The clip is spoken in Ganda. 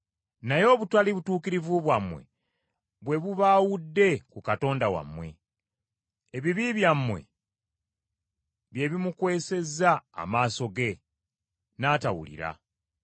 Naye obutali butuukirivu bwammwe bwe bubaawudde ku Katonda wammwe. Ebibi byammwe bye bimukwesezza amaaso ge, n’atawulira.